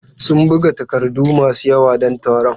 Sun buga takardu masu yawa don taron.